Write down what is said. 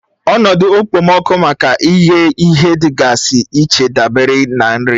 Ọnọdụ okpomọkụ maka ịghẹ ihe dịgasị iche dabere na nri